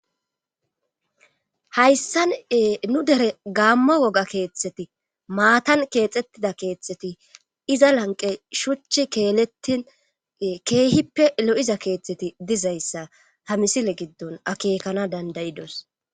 Hayssane nu dere gaamma woga keeththeti maatan keexxettida keeththeti iza lanqe shuchi keelettin keehippe lo'iza keeththeti dizayssa ha misile giddon akekana dandayidos.